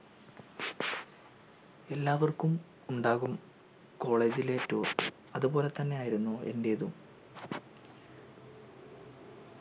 എല്ലാവർക്കും ഉണ്ടാകും college ലെ tour അതുപോലെ തന്നെയായിരുന്നു എൻ്റെതും